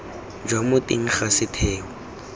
jwa mo teng ga setheo